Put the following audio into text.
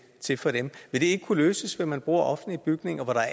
ikke kunne løses ved at man bruger offentlige bygninger